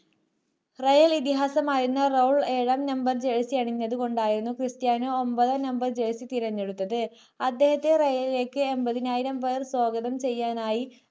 rayal ഇതിഹാസമായിരുന്ന Raul ഏഴാം number jersey അണിഞ്ഞത് കൊണ്ടായിരുന്നു ക്രിസ്റ്റിയാനൊ ഒൻപതാം number jersey തിരഞ്ഞെടുത്തത് അദ്ദേഹത്തെ royal ലേക്ക് എൺപതിനായിരം പേർ സ്വാഗതം ചെയ്യാനായി